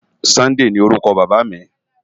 Sunday ni órùkò Baba mi